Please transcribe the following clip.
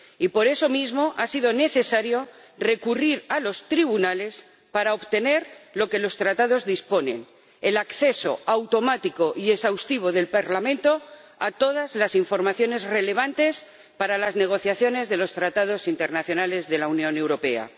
Y por eso mismo, ha sido necesario recurrir a los tribunales para obtener lo que los Tratados disponen el acceso automático y exhaustivo del Parlamento a todas las informaciones relevantes para las negociaciones de los tratados internacionales de la Unión Europea.